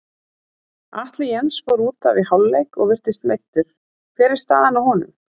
Atli Jens fór útaf í hálfleik og virtist meiddur, hver er staðan á honum?